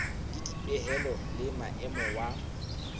le dipehelo le maemo wa